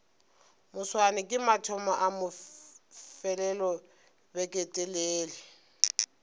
moswane ke mathomo a mafelelobeketelele